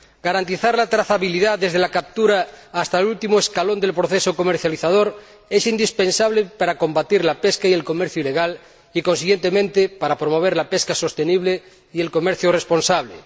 Garantizar la trazabilidad desde la captura hasta el último escalón del proceso comercializador es indispensable para combatir la pesca y el comercio ilegales y, consiguientemente, para promover la pesca sostenible y el comercio responsable.